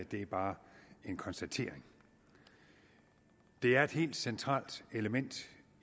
det er bare en konstatering det er et helt centralt element